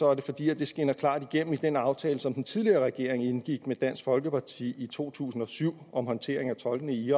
er det fordi det skinner klart igennem i den aftale som den tidligere regering indgik med dansk folkeparti i to tusind og syv om håndtering af tolkene i